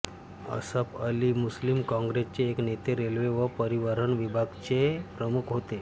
Asaf Ali Muslim काँग्रेसचे एक नेते रेल्वे व परिवहन विभाग चे प्रमुख होते